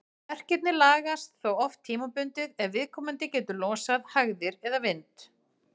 Verkirnir lagast þó oft tímabundið ef viðkomandi getur losað hægðir eða vind.